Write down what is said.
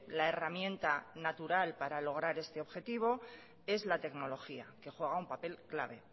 la herramienta natural para lograr este objetivo es la tecnología que juega un papel clave